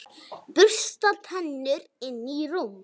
Bursta tennur, inn í rúm.